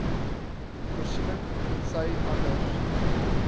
voorsiening tensy anders